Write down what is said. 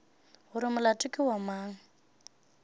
gore molato ke wa mang